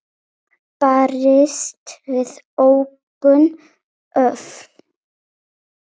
En svona er sportið orðið.